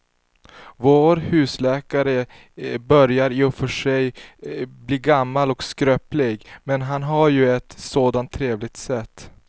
Vår husläkare börjar i och för sig bli gammal och skröplig, men han har ju ett sådant trevligt sätt!